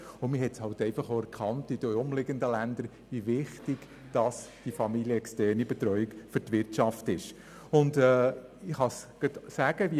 Zudem habe man in den umliegenden Ländern auch erkannt, wie wichtig die familienexterne Betreuung für die Wirtschaft sei.